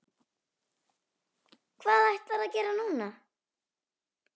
Hvað ætlarðu að gera núna?